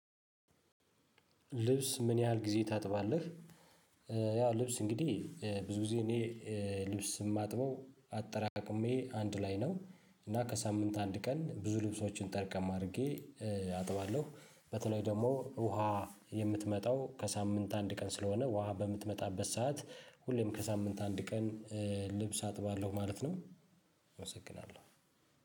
ልብስ ምን ያህል ጊዜ ታጥባለህ? ያው ልብስ እንግዲህ ብዙ ጊዜ እኔ ልብስ ስማጥበው አጠራቅሜ አንድ ላይ ነው እና ከሳምንት አንድ ቀን ብዙ ልብሶችን ጠርቀም አድርጌ አጥባለሁ በተለይ ደግሞ ውሃ የምትመጣው ከሳምንት አንድ ቀን ስለሆነ ውሃ በምትመጣበት ሰዓት ሁሌም ከሳምንት አንድ ቀን ልብስ አጥባለሁ ማለት ነው አመሰግናለሁ።